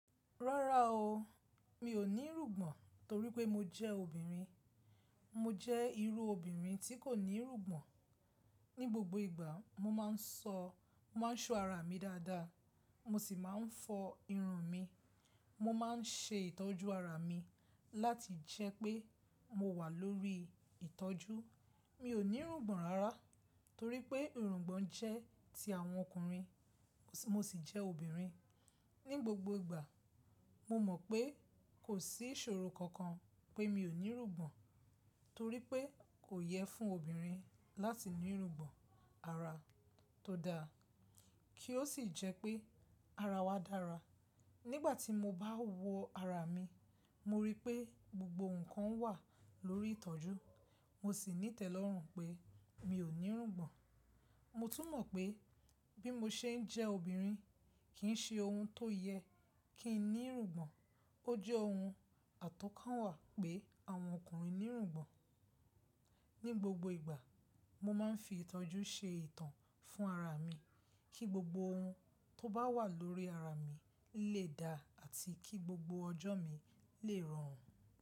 Rárá o, mi ò ní irùgbọ̀n torí pé mo jẹ́ obìnrin. Mo jẹ́ irú obìnrin tí kò ní rùgbọ̀n. Ní gbogbo ìgbà mo máa ń ṣọ ara mi dáadáa, mo sì máa ń fọ irun mi. Mo máa ń ṣe ìtọ́jú ara mi láti jẹ́ pé mo wà lórí ìtọ́jú. Mi ò ní irùngbọ̀n rárá torí pé irùngbọ̀n jẹ́ ti àwọn ọkùnrin mo sì jẹ́ obìnrin. Ní gbogbo ìgbà mo mọ̀ pé kò sí ìṣòro kankan pé mi ò ní irùngbọ̀n torí pé kò yẹ fún obìnrin láti ní irùngbọ̀n. Ara tó da kí ó sì jẹ́ pé ara wa dára. Nígbà tí mo bá wo ara mi, mo rí pé gbogbo ǹkan wà lórí ìtọ́jú, mo sì ní ìtẹ́lọ́rùn pé mi ò ní irùngbọ̀n. Mo tún mọ̀ pé bí mo ṣe ń jẹ́ obìnrin, kì í ṣe ohun tó yẹ kí n ní rùgbọ̀n. Ó jẹ́ ohun àtọ́kànwà pé àwọn ọkùnrin ní rùgbọ̀n. Ní gbogbo ìgbà mo máa ń fi ìtọ́jú ṣe ìtàn fún ara mi kí gbogbo ohun tó bá wà lórí ara mi lè da àti kí gbogbo ọjọ́ mi lè rọrùn.